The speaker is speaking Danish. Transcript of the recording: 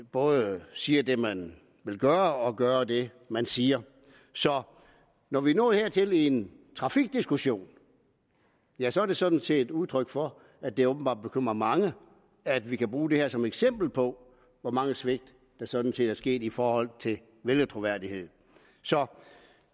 både siger det man vil gøre og gør det man siger så når vi er nået hertil i en trafikdiskussion ja så er det sådan set udtryk for at det åbenbart bekymrer mange at vi kan bruge det her som eksempel på hvor mange svigt der sådan set er sket i forhold til troværdighed så